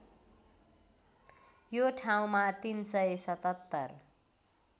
यो ठाउँमा ३७७